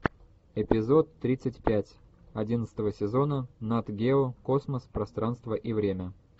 эпизод тридцать пять одиннадцатого сезона нат гео космос пространство и время